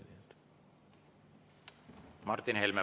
Martin Helme, palun!